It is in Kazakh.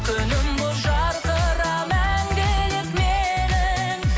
күнім болып жарқыра мәңгілік менің